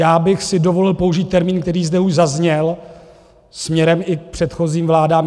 Já bych si dovolil použít termín, který zde už zazněl směrem i k předchozím vládám.